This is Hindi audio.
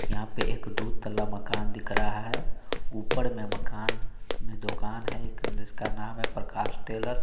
यहां पे एक दो तल्ला मकान दिख रहा है ऊपर में मकान में दुकान है एक जिसका नाम है प्रकाश टेलर ।